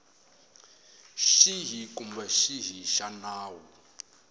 xihi kumbe xihi xa nawu